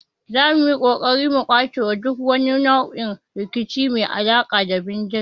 Zamu yi kokari mu kaucewa duk wani nau'in rikici mai alaka da bindiga